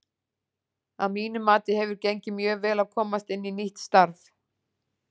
Að mínu mati hefur gengið mjög vel að komast inn í nýtt starf.